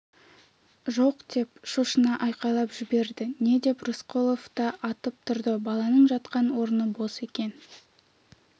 жоқ деп шошына айқайлап жіберді не деп рысқұлов та атып тұрды баланың жатқан орны бос екен